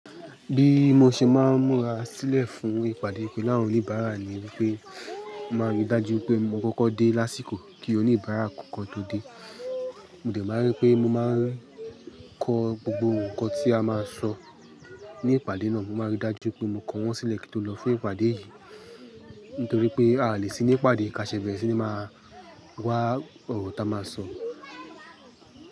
Bí mo ṣe máa ń múra sílẹ̀ fún ìpàdé pelu awon oníbàárà ni wípé, mo maa rí dájú pé mo kọ́kọ́ dé lásìkò kí oníbàárà kò kọ́ tó dé. Mo dẹ̀ máa rí pé mo máa ń kọ gbogbo ǹkan tí a máa sọ ní ìpàdé náà. Mo máa rí dájú pé mo kọ wọ́n sílẹ̀ kí ó lọ fún ìpàdé yìí. Nítorí pé a lè sí ní ìpàdé ká ṣe bẹ́ẹ̀ síi máa wá ọ̀rọ̀ tá a máa sọ.